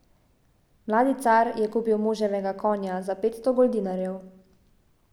Mladi car je kupil moževega konja za petsto goldinarjev.